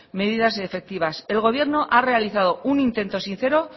medidas efectivas el gobierno ha realizado un intento sincero